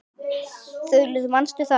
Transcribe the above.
Þulur: Manstu það?